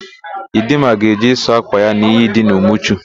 Ịdịmma ga-eje ịsụ ákwà ya n'iyi dị n'Umuchu.